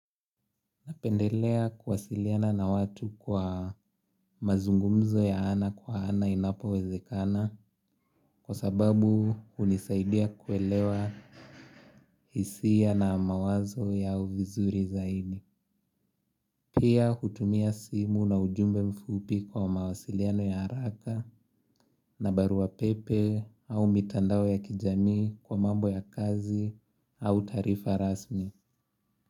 Napendelea kuwasiliana na watu kwa mazungumzo ya ana kwa ana inapowezekana kwa sababu hunisaidia kuelewa hisia na mawazo yao vizuri zaidi. Pia kutumia simu na ujumbe mfupi kwa mawasiliano ya haraka na barua pepe au mitandao ya kijamii kwa mambo ya kazi au taarifa rasmi.